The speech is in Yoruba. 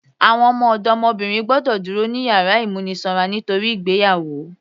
Àwọn ọdọmọbìnrin gbọ́dọ̀ dúró ní yàrá ìmúnisanra nítorí ìgbéyàwó